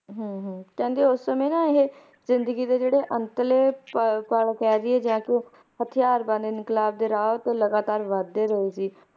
ਹਮਮ ਹਮਮ! ਕਹਿੰਦੇ ਓਸ ਸਮੇਂ ਨਾ ਇਹ ਜ਼ਿੰਦਗੀ ਦੇ ਜਿਹੜੇ ਅੰਤਲੇ ਪੱਲ ਕਹਿ ਦੀਏ ਜਾ ਹਥਿਆਰ ਬੰਨ ਇੰਕਲਾਬ ਦੇ ਰਾਹ ਤੇ ਲਗਾਤਾਰ ਵੱਧਦੇ ਰਹੇ ਸੀ